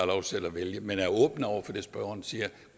lov selv at vælge men vi er åbne over for det spørgeren siger